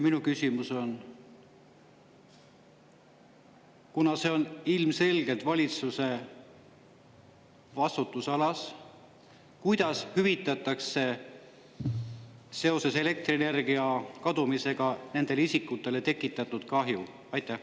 Minu küsimus on: kuna see on ilmselgelt valitsuse vastutusalas, kuidas hüvitatakse seoses elektrienergia kadumisega nendele isikutele tekitatud kahju?